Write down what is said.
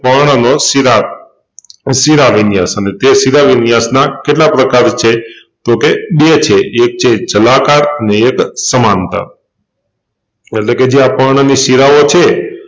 પર્ણનો શિરા શિરાવિન્યાસ ને તે શિરાવિન્યાસનાં કેટલા પ્રકારો છે તોકે બે છે એક છે જલાકાર ને એક સમાનતા એટલેકે જે આ પર્ણની શિરાઓ છે